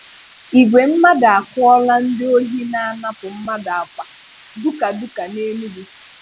Igwe mmadụ àkụ̀là ndị ohi na-anapụ mmadụ àkpà dukàdùka n’Enugu.